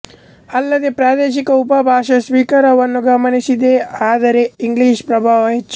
ಅಲ್ಲದೆ ಪ್ರಾದೇಶಿಕ ಉಪಭಾಷಾ ಸ್ವೀಕಾರವನ್ನೂ ಗಮನಿಸಿದ್ದೆ ಆದರೆ ಇಂಗ್ಲಿಷ್ ಪ್ರಭಾವ ಹೆಚ್ಚು